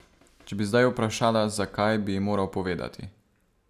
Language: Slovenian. Če bi zdaj vprašala, zakaj, bi ji moral povedati.